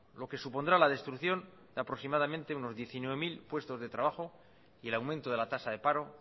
lo que supondrá la destrucción de aproximadamente unos diecinueve mil puestos de trabajo y el aumento de la tasa de paro